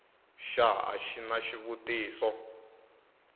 xa a xi na xivutiso